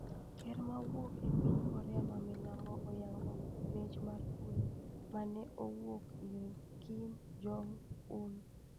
Ker mawuok e piny Korea ma milambo oyango ' Mich mar kwe' ma ne owuok ir Kim Jong Un.